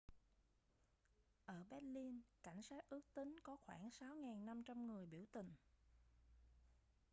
ở berlin cảnh sát ước tính có khoảng 6.500 người biểu tình